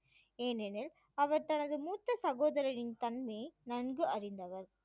ஏனெனில் அவர் தனது மூத்த சகோதரனின் தன்மையை நன்கு அறிந்தவர்